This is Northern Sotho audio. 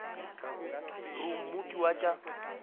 re o mooki wa tša